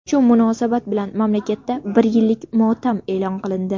Shu munosabat bilan mamlakatda bir yillik motam e’lon qilindi.